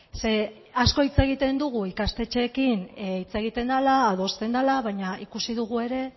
ze asko hitz egiten dugu ikastetxeekin hitz egiten dela adosten dela baina ikusi dugu ere